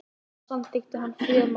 þar samþykkti hann friðarskilmála